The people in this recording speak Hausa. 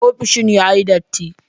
Ofishin yayi datti.